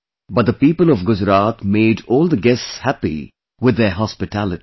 But the people of Gujarat made all the guests happy with their hospitality